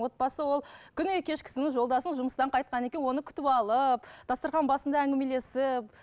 отбасы ол күніне кешкісін жолдасым жұмыстан қайтқаннан кейін оны күтіп алып дастархан басында әңгімелесіп